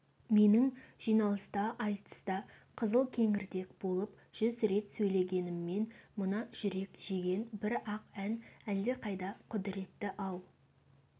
менің жиналыста айтыста қызылкеңірдек болып жүз рет сөйлегенімнен мына жүрек жеген бір-ақ ән әлдеқайда құдіретті-ау